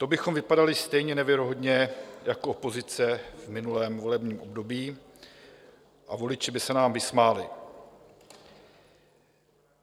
To bychom vypadali stejně nevěrohodně jako opozice v minulém volebním období a voliči by se nám vysmáli.